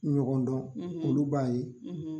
Ɲɔkɔndɔn olu b'a ye